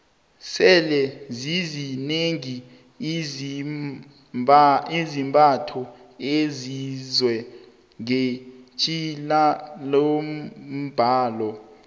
sele zizinengi izambatho ezenziwe ngetjhilalombnalo